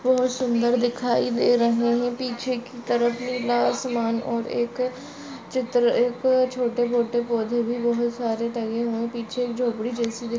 बहुत सुंदर दिखाई दे रहे है पीछे की तरफ़ नीला आसमान और एक चित्र एक छोटे-बोटे छोटे-मोठे पोधे भी बहुत सारे टंगे हुए पीछे एक झोपड़ी जैसी--